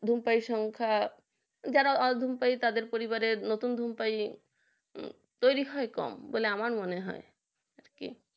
ধূমপাই সংখ্যা যারা অধম পাই তাদের পরিবারের নতুন ধূমপাই তৈরি হয় কম আমার মনে হয় আর কি